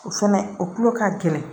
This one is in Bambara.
O fɛnɛ o kulo ka gɛlɛn